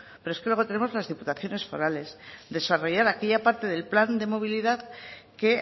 pero es que luego tenemos las diputaciones forales desarrollar aquella parte del plan de movilidad que